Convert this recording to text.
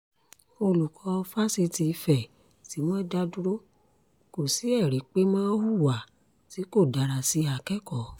olùkọ́ fáṣítì ìfẹ́ tí wọ́n dá dúró kò sí ẹ̀rí pé mo hùwà tí kò dára sí akẹ́kọ̀ọ́